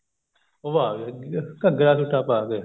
ਉਹ ਆਗੇ ਘੱਗਰਾ ਸੁਤਾ ਪਾ ਕੇ